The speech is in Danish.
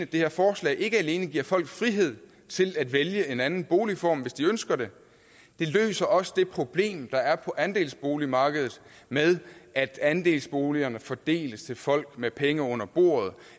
det her forslag ikke alene giver folk frihed til at vælge en anden boligform hvis de ønsker det det løser også det problem der er på andelsboligmarkedet med at andelsboligerne fordeles til folk med penge under bordet